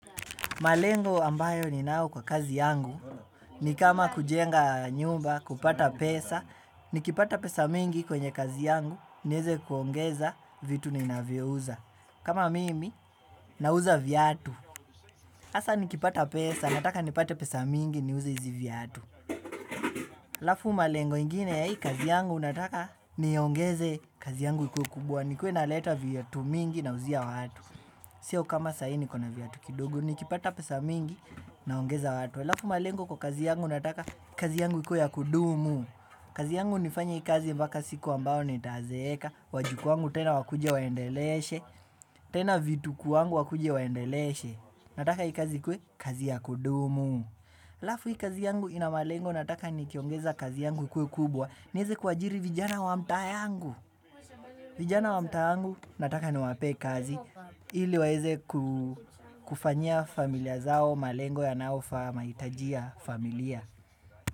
Malengo ambayo ninayo kwa kazi yangu ni kama kujenga nyumba kupata pesa nikipata pesa mingi kwenye kazi yangu nieze kuongeza vitu ninavyouza. Kama mimi, nauza viatu. Hasa nikipata pesa nataka nipate pesa mingi niuze hizi viatu. Halafu malengo ingine ya hii kazi yangu nataka niongeze kazi yangu ikuwe kubwa nikuwe naleta viatu mingi nauzia watu. Sio kama sahii niko na viatu kidogo nikipata pesa mingi naongeza watu. Alafu malengo kwa kazi yangu nataka kazi yangu ikuwe ya kudumu. Kazi yangu nifanye hii kazi mpaka siku ambayo nitazeeka. Wajukuu wangu tena wakuja waendeleshe. Tena vitukuu wangu wakuja waendeleshe. Nataka hii kazi ikuwe kazi ya kudumu. Alafu hii kazi yangu ina malengo nataka nikiongeza kazi yangu ikuwe kubwa. Niweze kuajiri vijana wa mtaa yangu. Vijana wa mta yangu nataka ni wapee kazi. Ili waweze kufanyia familia zao malengo yanaofaa mahitaji ya familia.